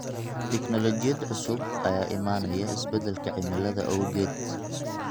Tignoolajiyada cusub ayaa imaanaya isbedelka cimilada awgeed.